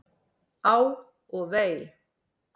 Á og vei!